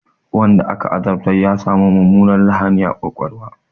Wanda aka azabtar ya sami mummunar lahani a ƙwaƙwalwa.